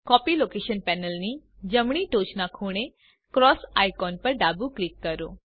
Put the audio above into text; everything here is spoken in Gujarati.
કોપી લોકેશન પેનલની જમણી ટોચના ખૂણે ક્રોસ આઇકોન પર ડાબું ક્લિક કરો